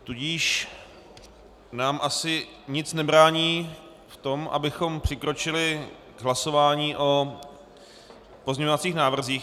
Tudíž nám asi nic nebrání v tom, abychom přikročili k hlasování o pozměňovacích návrzích.